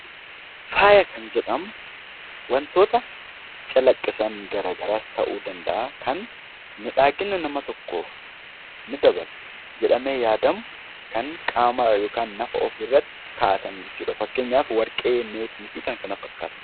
Faaya Kan jedhamu waantota calaqqisan garagaraas ta'uu danda'a. Kan miidhagina nama tokkoof ni dabala jedhamee yaadamu Kan qaama yookaan nafa ofiirratti kaawwatan jechuudha. Fakkeenyaaf warqee, meetii fi Kanneen kana fakkaatan.